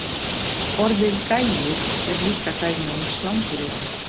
Orðið gæi er líka dæmi um slanguryrði.